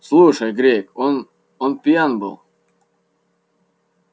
слушай грег он он пьян